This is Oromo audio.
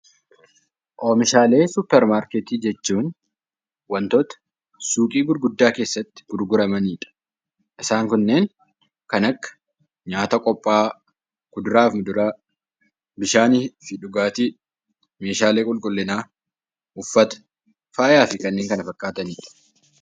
Oomishaalee suupparmaarkeetii jechuun wantoota suuqii gurguddaa keessatti gurguramanidha. Isaan kunneen kan akka nyaata qophaa'an, kuduraa fi fuduraa, bishaanii fi dhugaatii , meeshaalee qulqullinaa, uffata, faayaan fi kanneen kana fakkaatanidha